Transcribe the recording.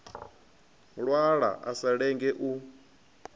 lwala a sa lenge u